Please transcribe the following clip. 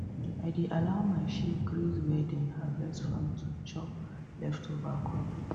i dey allow my sheep graze where dem harvest farm to chop leftover crop